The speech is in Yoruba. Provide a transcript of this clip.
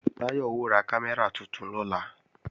Táyọ̀ ó ra kámẹ́rà tuntun lọ́la